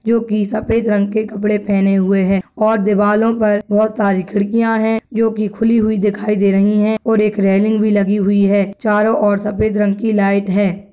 जो की सफेद रंग के कपड़े पहने हुए है और दीवालों पर बहुत सारे खिड़कियां हैं जो की खुली हुई दिखाई दे रही है और एक रैलिंग भी लगी हुई है चारों और सफेद रंग की लाइट है।